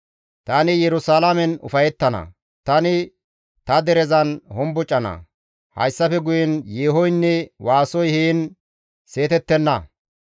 Tani Yerusalaamen ufayettana; tani ta derezan hombocana; hayssafe guyen yeehoynne waasoy heen seetettenna.